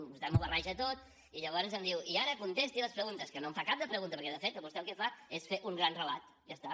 vostè m’ho barreja tot i llavors em diu i ara contesti les preguntes que no en fa cap de pregunta perquè de fet vostè el que fa és fer un gran relat ja està